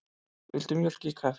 Viltu mjólk í kaffið?